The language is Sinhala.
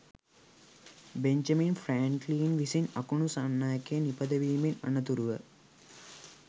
බෙන්ජමින් ෆ්රෑන්ක්ලින් විසින් අකුණු සන්නායකය නිපදවීමෙන් අනතුරුව